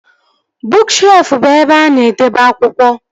Bụụk shelfụ bụ ebe a na-edebe akwụkwọ